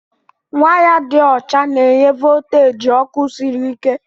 Waya dị ọcha na-enye volteji ọkụ sịrị ike.